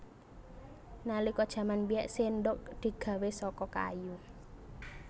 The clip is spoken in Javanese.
Nalika jaman biyèn séndhok digawé saka kayu